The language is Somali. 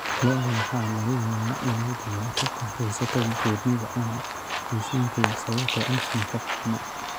Lo'da waxaa laga yaabaa inay dhibaato ka haysato buurnida ama miisaanka yar sababtoo ah nafaqo xumo.